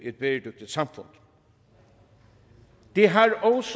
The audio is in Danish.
et bæredygtigt samfund det har også